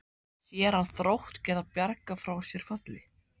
Sér hann Þrótt geta bjargað sér frá falli?